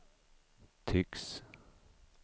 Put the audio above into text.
tycks